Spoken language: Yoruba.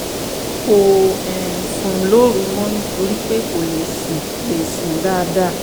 kò um sùn lóru mọ́ nítorí pé kò lè sùn lè sùn dáadáa